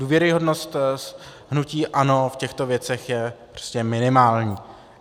Důvěryhodnost hnutí ANO v těchto věcech je prostě minimální.